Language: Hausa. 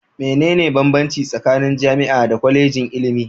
Mene ne banbanci tsakanin jam'a da Kwallejin ilimi?